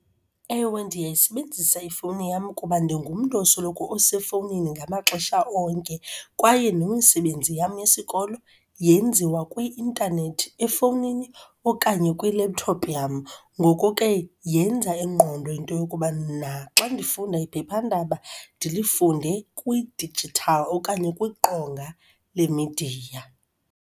Ewe, ndiyayisebenzisa ifowuni yam kuba ndingumntu osoloko esefowunini ngamaxesha onke kwaye nemisebenzi yam yesikolo yenziwa kwi-intanethi efowunini okanye kwi-laptop yam. Ngoko ke yenza ingqondo into yokuba naxa ndifunda iphephandaba, ndilifunde kwi-digital okanye kwiqonga lemidiya.